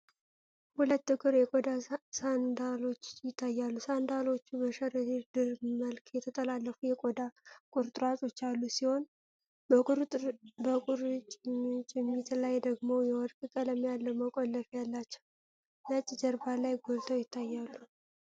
ሁለት ጥቁር የቆዳ ሳንዳሎች ይታያሉ። ሳንዳሎቹ በሸረሪት ድር መልክ የተጠላለፉ የቆዳ ቁርጥራጮች ያሉት ሲሆን፤ በቁርጭምጭሚት ላይ ደግሞ የወርቅ ቀለም ያለው መቆለፊያ አላቸው። ነጭ ጀርባ ላይ ጎልተው ይታያሉ።